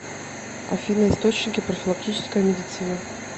афина источники профилактическая медицина